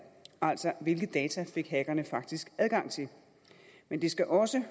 altså hvilke data hackerne faktisk adgang til men det skal også